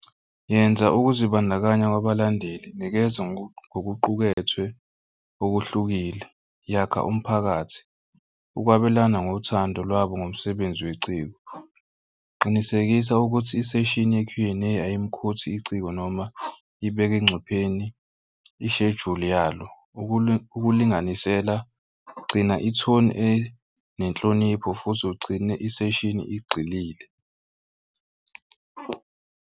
Yenza ukuzibandakanya kwabalandeli. Nikeza ngokuqukethwe okuhlukile. Yakha umphakathi ukwabelana ngothando lwabo ngomsebenzi weciko. Qinisekisa ukuthi iseshini ye-Q and A ayimikhothi iciko noma ibeke engcupheni ishejuli yalo ukulinganisela gcina ithoni enenhlonipho futhi ugcine iseshini igxilile.